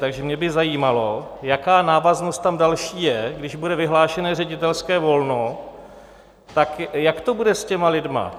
Takže mě by zajímalo, jaká návaznost tam další je, když bude vyhlášené ředitelské volno, tak jak to bude s těmi lidmi?